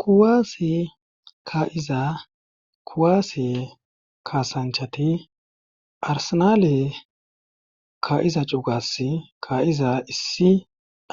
kuwaase ka'iza kuwaase kaasanchati arsenaale ka'iza cugas kaa'iza issi